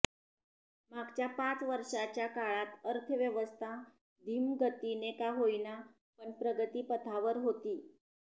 मागच्या पाच वर्षाच्या काळात अर्थव्यवस्था धीम्यगतीने का होईना पण प्रगतीपथावर होती